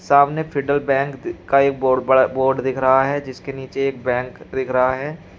सामने Federal Bank का एक बहोत बड़ा बोर्ड दिख रहा है जिसके नीचे एक बैंक दिख रहा है।